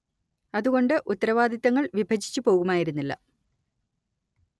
അതുകൊണ്ട് ഉത്തരവാദിത്തങ്ങൾ വിഭജിച്ച് പോകുമായിരുന്നില്ല